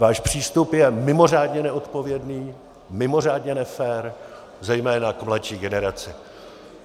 Váš přístup je mimořádně neodpovědný, mimořádně nefér zejména k mladší generaci.